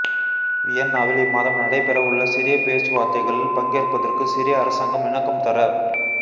வியன்னாவில் இம்மாதம் நடைபெறவுள்ள சிரிய பேச்சுவார்த்தைகளில் பங்கேற்பதற்கு சிரிய அரசாங்கம் இணக்கம் தெர